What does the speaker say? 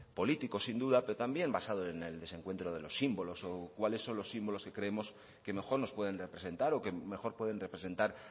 político sin duda pero también basado en el desencuentro de los símbolos y cuáles son los símbolos que creemos que mejor nos pueden representar o que mejor pueden representar